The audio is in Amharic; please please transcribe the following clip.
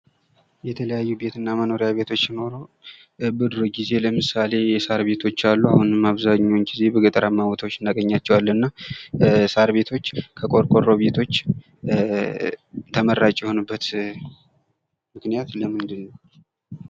የተለያዩ ቤትና መኖሪያ ቤቶች ሲኖሩ በድሮ ጊዜ ለምሳሌ የሳር ቤቶች አሉ ። አሁንም አብዛኛውን ጊዜ በገጠርማ ቦታዎች እናገኛቸዋለን ። እና ሳር ቤቶች ከቆርቆሮ ቤቶች ተመራጭ የሆኑበት ምክንያት ለምንድነው ?